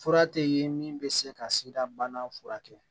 Fura tɛ ye min bɛ se ka sida bana furakɛ